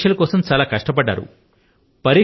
మీరు పరీక్షల కోసం చాలా కష్టపడ్డారు